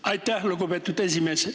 Aitäh, lugupeetud esimees!